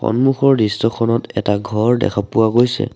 সন্মুখৰ দৃশ্যখনত এটা ঘৰ দেখা পোৱা গৈছে।